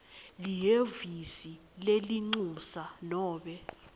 lihhovisi lelincusa nobe